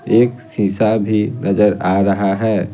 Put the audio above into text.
एक शीशा भी नजर आ रहा है।